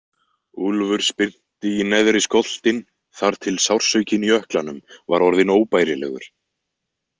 Úlfur spyrnti í neðri skoltinn þar til sársaukinn í ökklanum var orðinn óbærilegur.